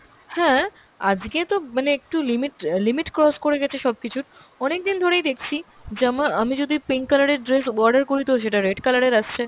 হ্যাঁ, আজকে তো মানে একটু limit অ্যাঁ limit cross করে গেছে সব কিছুর, অনেক দিন ধরেই দেখছি জামা আমি যদি pink colour এর dress order করি তো সেটা red colour এর আসছে।